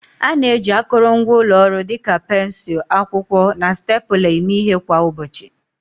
A na-eji akụrụngwa ụlọ ọrụ dịka pensụl, akwụkwọ, na stapler eme ihe kwa ụbọchị.